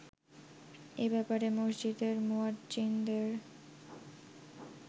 এ ব্যাপারে মসজিদের মুয়াজ্জ্বিনদের